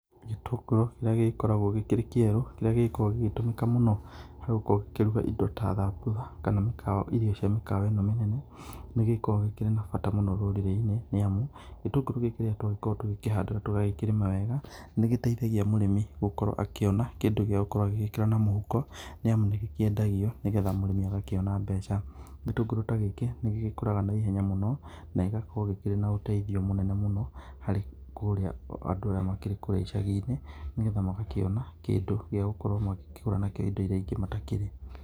Gĩtũngũrũ kĩrĩa gĩgĩkoragwo gĩkĩrĩ kĩerũ, kĩrĩa gĩkoragwo gĩgĩtũmĩka mũno harĩ gũkorwo gĩkĩruga indo ta thambutha kana mĩkawa irio cia mĩkawa ĩno mĩnene, nĩgĩkoragwo gĩkĩrĩ na bata mũnene rũrĩrĩ-inĩ, nĩ amu gĩtũngũrũ gĩkĩ rĩrĩa twagĩkorwo tugĩkĩhanda na tũgakĩrĩma wega nĩ gĩtheithagia mũrĩmi gũkorwo akĩona kĩndũ gĩa gũkorwo agĩgĩkĩra na mũhuko, nĩamu nĩ gĩkĩendagio nĩgetha mũrĩmi agakĩona mbeca. Gĩtũngũrũ ta gĩkĩ nĩ gĩgĩkũraga na ihenya mũno na igakorwo gĩkĩrĩ na ũteithio mũno harĩ kũrĩa andũ aya makĩrĩ kũrĩa icagi-inĩ, nĩgetha magakĩona kĩndũ gĩa gũkorwo magĩkĩgũra nakĩo indo irĩa ingĩ matakĩrĩ.